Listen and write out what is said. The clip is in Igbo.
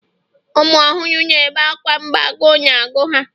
ụmụ ọhụrụ na-ebe akwa mgbe agụụ na-agụ ha